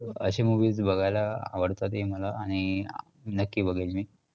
अशे movies बघायला आवडतात हे मला आणि नक्की बघेन मी,